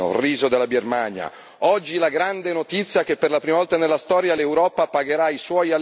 Pannelli fotovoltaici, acciaio, tessile, l'olio tunisino, il riso della Birmania.